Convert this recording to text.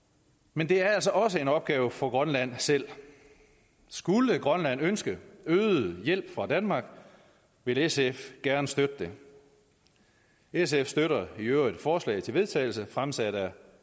men det er altså også en opgave for grønland selv skulle grønland ønske øget hjælp fra danmark vil sf gerne støtte det sf støtter i øvrigt forslaget til vedtagelse fremsat af